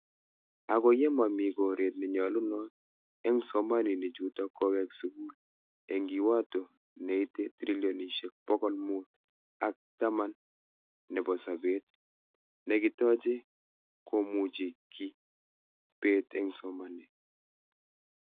Ako ye mami koret ne nyalunot eng psamaninik chuto kuwek sukul , eng kiwato neite trilonishek pokol mut ak taman nebo sabet nekitache komuchi ki bet eng .somanet.